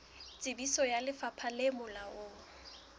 tsebiso ya lefapha le molaong